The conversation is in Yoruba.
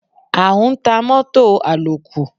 A ń ta mọ́tọ̀ àlòkù.